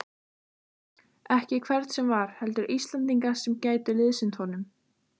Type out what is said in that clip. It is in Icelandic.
Ekki hvern sem var, heldur Íslendinga sem gætu liðsinnt honum.